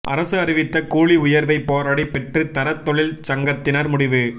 அரசு அறிவித்த கூலி உயா்வை போராடி பெற்று தர தொழிற்சங்கத்தினா் முடிவு